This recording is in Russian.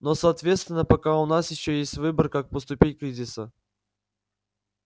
но соответственно пока у нас ещё есть выбор как поступить кризиса